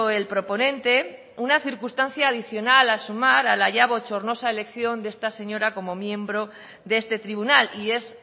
el proponente una circunstancia adicional a sumar a la ya bochornosa elección de esta señora como miembro de este tribunal y es